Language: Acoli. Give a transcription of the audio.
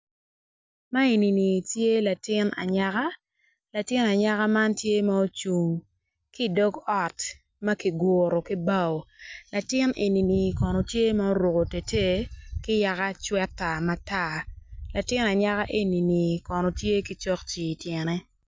Man enini tye latin anyaka latin anyaka man tye ma ocung ki idog ot ma kiguro ki bao latin enini bene tye ma oruko itetei ki yaka cweta matar latin anyaka enini kono tye ki cokci ityene.